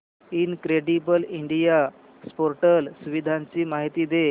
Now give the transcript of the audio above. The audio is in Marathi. इनक्रेडिबल इंडिया पोर्टल सुविधांची माहिती दे